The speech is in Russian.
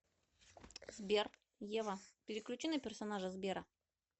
сбер ева переключи на персонажа сбера